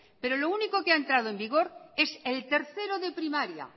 pero lo único que ha entrado en vigor es el tercero de primaria